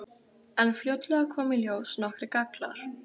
En fljótlega koma í ljós nokkrir gallar.